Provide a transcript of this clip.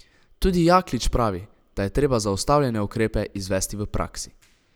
Tudi Jaklič pravi, da je treba zastavljene ukrepe izvesti v praksi.